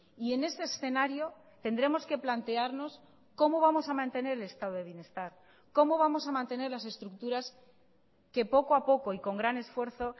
y en ese escenario tendremos que plantearnos cómo vamos a mantener el estado de bienestar cómo vamos a mantener las estructuras que poco a poco y con gran esfuerzo